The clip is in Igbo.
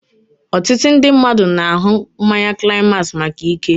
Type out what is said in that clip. Otutu ndị mmadụ na-aṅụ mmanya climax maka ike